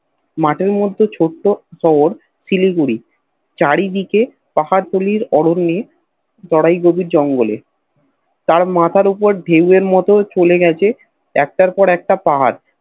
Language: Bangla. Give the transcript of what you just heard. মাঠের মধ্যে ছোট্ট শহর শিলিগুড়ি চারিদিকে পাহাড় তুলির অরণ্যে গোড়ায় গভীর জঙ্গলে তার মাথার উপর ধেও এর মত চলে গেছে একটার পর একটা পাহাড়